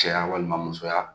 Cɛya walima musoya